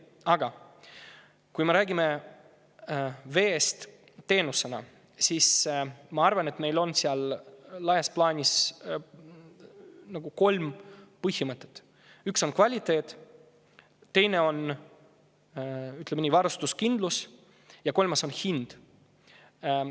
Aga kui me räägime veest teenusena, siis ma arvan, et meil on laias laastus kolm põhimõtet: üks on kvaliteet, teine on varustuskindlus ja kolmas on hind.